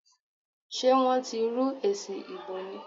Sé wọ́n ti rú èsì ìbò ni?